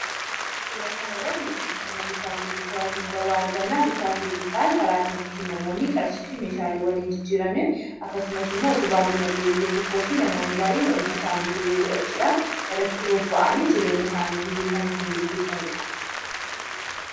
Suura kana irratti sirna bittaa fi gurgurtaa argina. Bittaa fi gurgurtaan karaa namoonni qarshii fi meeshaalee wal jijjiiranidha. Akkasumas utubaa diinagdee biyya tokkooti. Namoonni hojii idilee godhachuudhaan jireenya isaanii guyyuu ittiin gaggeessanidha.